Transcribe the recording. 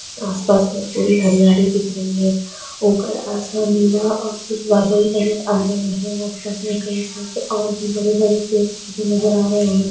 आस पास में बड़ी हरियाली दिख रही है ऊपर आसमान नीला और कुछ बादल नज़र आ रहे हैं आस पास में कई सारे और भी बड़े-बड़े पेड़ पौधे नज़र आ रहे है।